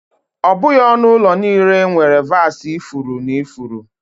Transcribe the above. Ọ bụghị onu ulo niile nwere vasi ifuru na ifuru.